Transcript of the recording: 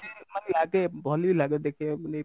ଖୁସି ମାନେ ଲାଗେ ଭଲ ବି ଲାଗେ ଦେଖିବାକୁ